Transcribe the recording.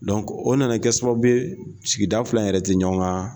o nana kɛ sababu ye sigida fila yɛrɛ tɛ ɲɔgɔn ka